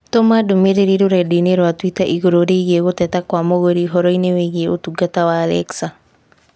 tũma ndũmīrīri rũrenda-inī rũa tũita igũrũ rĩgiĩ gũteta kwa mũgũri ũhoro-inĩ wĩgiĩ ũtungata wa Alexa